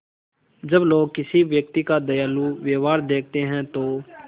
जब लोग किसी व्यक्ति का दयालु व्यवहार देखते हैं तो